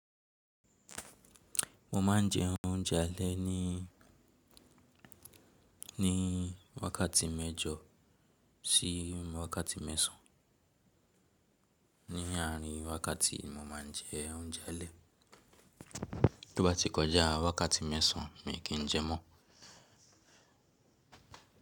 Mo ma ń je ounjé alé ní, ní wákàtí mẹjọ sí wákàtí mẹ̀sán. Ní àárín wákàtí yi, mo máa ń jẹ́ ounjé alé. Tó bá ti kọjá wákàtí mẹ́sàn mi kìí jẹ mọ́.